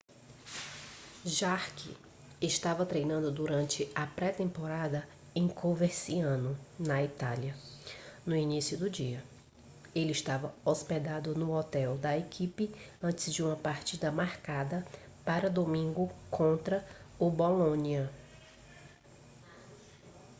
jarque estava treinando durante a pré temporada em coverciano na itália no início do dia ele estava hospedado no hotel da equipe antes de uma partida marcada para domingo contra o bolonia